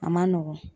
A man nɔgɔn